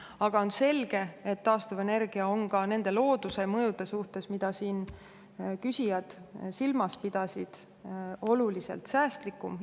Aga on selge, et taastuvenergia on ka nende looduse mõjude suhtes, mida siin küsijad silmas pidasid, oluliselt säästlikum.